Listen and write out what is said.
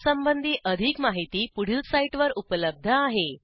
यासंबंधी अधिक माहिती पुढील साईटवर उपलब्ध आहे